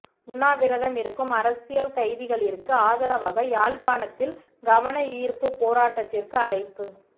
உண்ணாவிரதம் இருக்கும் அரசியல் கைதிகளிற்கு ஆதரவாக யாழ்ப்பாணத்தில் கவனயீர்ப்புப் போராட்டத்திற்கு அழைப்பு